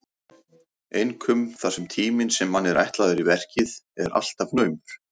Einkum þar sem tíminn sem manni er ætlaður í verkið er alltaf naumur.